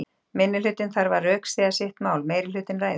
Minnihlutinn þarf að rökstyðja sitt mál, meirihlutinn ræður.